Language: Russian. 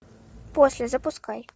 после запускай